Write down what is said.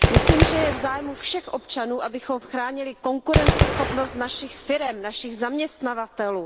Myslím, že je v zájmu všech občanů, abychom chránili konkurenceschopnost našich firem, našich zaměstnavatelů.